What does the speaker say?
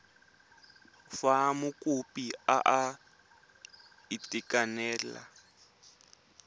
fa mokopi a sa itekanela